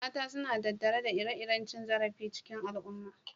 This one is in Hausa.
Mata suna tattare da ire-iren cin zarafi cikin al'umma.